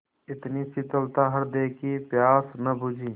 इतनी शीतलता हृदय की प्यास न बुझी